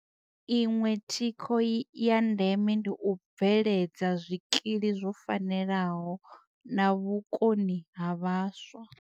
Iṅwe thikho ya ndeme ndi u bve ledza zwikili zwo fanelaho na vhukoni ha vhaswa.